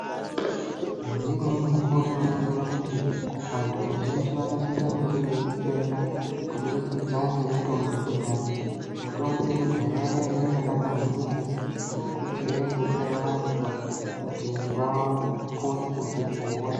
Ngeimweni mukuwo tinoningire kuti vantu vazhinji vanosise kunge veidetsereka kubudikidza ngemitombo yekudhaya. Mitombo yekudhaya yaiya yakanaka maningi ngekuti yaidetsera vantu kuti vapone kubve kuhosha.